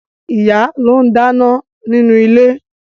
Ìyá ló ń dáná nínú ilé